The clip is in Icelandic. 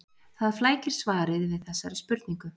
Það flækir svarið við þessari spurningu.